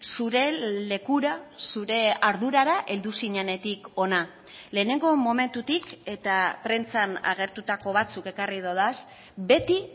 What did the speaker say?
zure lekura zure ardurara heldu zinenetik hona lehenengo momentutik eta prentsan agertutako batzuk ekarri dodaz beti